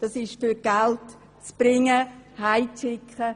Es geht darum, Geld nach Hause zu bringen oder zu schicken.